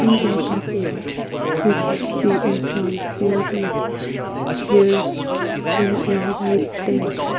in the above image we can see a ground filled with Chairs and a white tent.